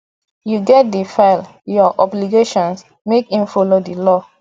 yu gats dey file yur obligations mek im follow di law